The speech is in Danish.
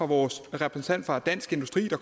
vores repræsentant for dansk industri der